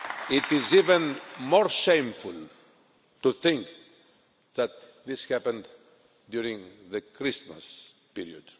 It is even more shameful to think that this happened during the Christmas period.